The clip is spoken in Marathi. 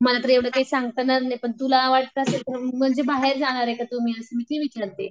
मला तर एव्हडं काही सांगता येणार नाही पण तुला वाटत असेल तर म्हणजे बाहेर जाणार आहे का तुम्ही असं मी ते विचारते.